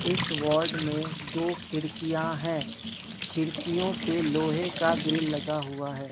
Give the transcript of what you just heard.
इस वार्ड में दो खिड़कियां है खिड़कियों पे लोहे का ग्रिल लगा हुआ है।